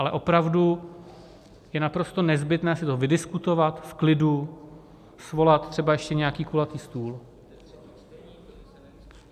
Ale opravdu je naprosto nezbytné si to vydiskutovat, v klidu, svolat třeba ještě nějaký kulatý stůl.